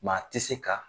Maa tɛ se ka